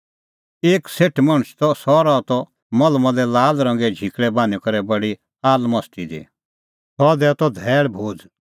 एक सेठ मणछ त सह रहा त मलमले लाला रंगे झिकल़ै बान्हीं करै बडी आलमस्ती दी सह दैआ त धैल़ भोज़